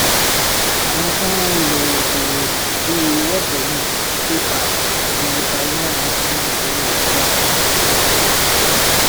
àwọn fọnrán ilẹ òkèèrè bíi worldremit paypal àti payoneer ń fún owó ìsọdá fún áfíríkà